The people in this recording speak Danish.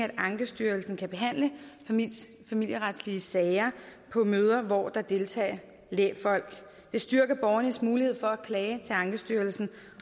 at ankestyrelsen kan behandle familieretlige sager på møder hvor der deltager lægfolk det styrker borgernes mulighed for at klage til ankestyrelsen